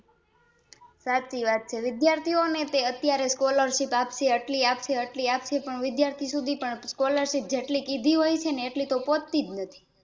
સાચી વાત છે વિદ્યાર્થીઓંને તે અત્યારે Schlarship આપશે આટલી આપશે આટલી આપશે પણ વિદ્યાર્થી સુધી પણ Scholarship જેટલી કીધી હોયને એટલી તો પહોચતી જ નથી